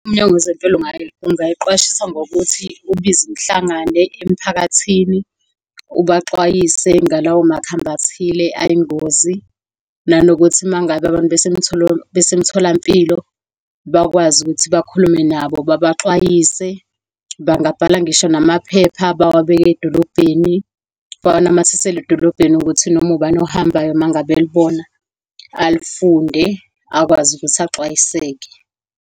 UMnyango WezeMpilo ugayiqwashisa ngokuthi ubize umhlangano emphakathini, ubaxwayise ngalawo makhambi athile ayingozi, nanokuthi uma ngabe abantu besemtholampilo bakwazi ukuthi bakhulume nabo, babaxwayise. Bangabhala ngisho namaphepha bawabeke edolobheni, bawanamathisele edolobheni, ukuthi noma ubani ohambayo uma ngabe elibona alifunde, akwazi ukuthi axwayiseke.